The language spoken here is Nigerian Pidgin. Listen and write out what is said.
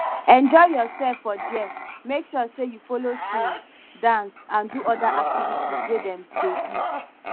enjoy yourself for there make sure say you follow sing dance and do other activities wey dem de do